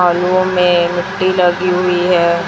में मिट्टी लगी हुई है।